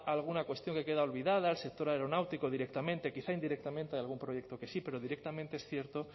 alguna cuestión que queda olvidada el sector aeronáutico directamente quizá indirectamente de algún proyecto que sí pero directamente es cierto